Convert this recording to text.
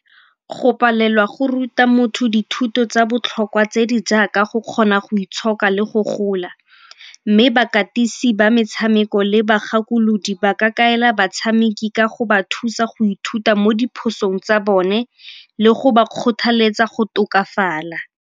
Go palelwa go ruta motho dithuto tsa botlhokwa tse di jaaka go kgona go itshoka le go gola, mme bakatisi ba metshameko le bagakolodi ba ka kaela batshameki ka go ba thusa go ithuta mo diphosong tsa bone le go ba kgothaletsa go tokafala.